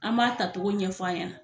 An m'a tagogo ɲɛfɔ a ɲɛna